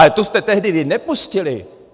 Ale tu jste vy tehdy nepustili.